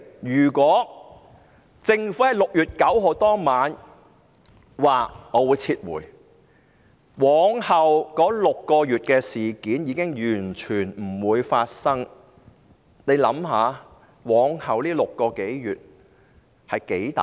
如果政府在6月9日當晚表示撤回修例，便完全不會發生往後6個月的事。